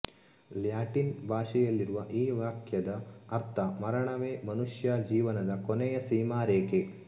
Latin ಭಾಷೆಯಲ್ಲಿರುವ ಈ ವಾಕ್ಯದ ಅರ್ಥ ಮರಣವೇ ಮನುಷ್ಯ ಜೀವನದ ಕೊನೆಯ ಸೀಮಾ ರೇಖೆ